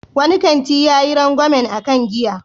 Wani kanti yayi rangwamen a kan giya.